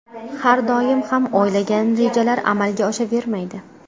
Har doim ham o‘ylagan rejalar amalga oshavermaydi.